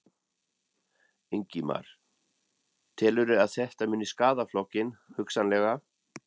Ingimar: Telurðu að þetta muni skaða flokkinn, hugsanlega?